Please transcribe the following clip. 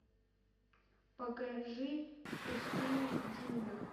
покажи в пустыне и в джунглях